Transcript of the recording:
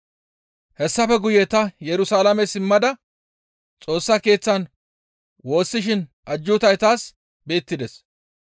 Hessafe guye ta Yerusalaame simmada Xoossa keeththan woossishin ajjuutay taas beettides.